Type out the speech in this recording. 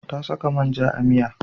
Ta saka man ja a miya.